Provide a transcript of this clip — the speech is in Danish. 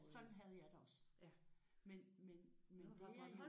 Sådan havde jeg det også men men men det er jo